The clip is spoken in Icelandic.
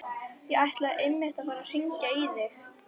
Ég ætlaði einmitt að fara að hringja í þig.